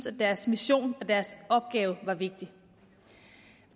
at deres mission og deres opgave var vigtig